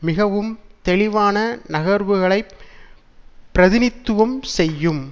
மிகவும் தெளிவான நகர்வுகளைப் பிரிநித்துவம் செய்யும்